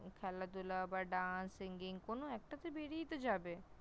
খেলাধুলা বা Dance, Singing কোন একটাতে বেরিয়ে তো যাবে ।